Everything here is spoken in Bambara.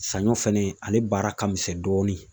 Saɲɔ fɛnɛ, ale baara ka misɛn dɔɔni.